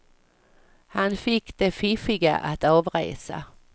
Han fick de fiffiga att avresa.